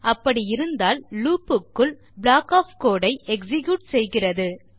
அப்படி இருந்தால் லூப் க்குள் ப்ளாக் ஒஃப் கோடு ஐ எக்ஸிக்யூட் செய்கிறது